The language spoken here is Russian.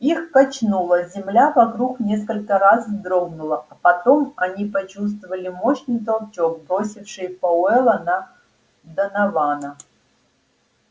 их качнуло земля вокруг несколько раз вздрогнула а потом они почувствовали мощный толчок бросивший пауэлла на донована